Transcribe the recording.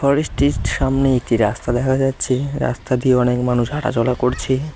ফরেস্টটিস্ট -টির সামনে একটি রাস্তা দেখা যাচ্ছে রাস্তা দিয়ে অনেক মানুষ হাঁটাচলা করছে।